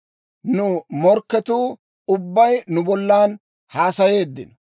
Nu morkketuu ubbay nu bollan haasayeeddino.